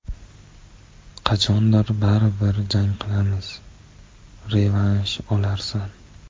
Qachondir baribir jang qilamiz, revansh olarsan.